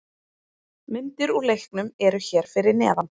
Myndir úr leiknum eru hér fyrir neðan